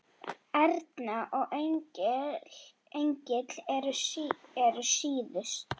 Erna og Engill eru síðust.